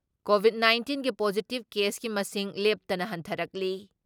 Covid ꯅꯥꯏꯟꯇꯤꯟꯒꯤ positive ꯀꯦꯁꯀꯤ ꯃꯁꯤꯡ ꯂꯦꯞꯇꯅ ꯍꯟꯊꯔꯛꯂꯤ ꯫